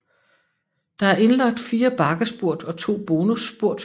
Der er indlagt 4 bakkespurt og 2 bonusspurt